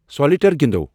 solitaire گِنٛدَو